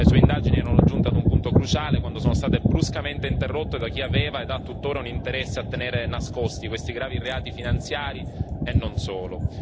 Le sue indagini erano giunte a un punto cruciale quando sono state bruscamente interrotte da chi aveva e ha tuttora un interesse a tenere nascosti questi gravi reati finanziari e non solo.